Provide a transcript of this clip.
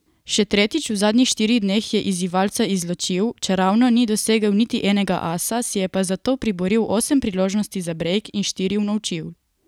Še tretjič v zadnjih štirih dneh je izzivalca izločil, čeravno ni dosegel niti enega asa, si je pa zato priboril osem priložnosti za brejk in štiri unovčil.